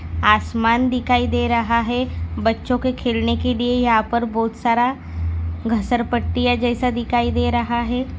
आसमान दिखाई दे रहा है बच्चों के खेलने के लिए यहा पर बहुत सारा घसर पट्टी जैसा दिखाई दे रहा है।